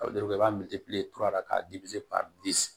i b'a ka ka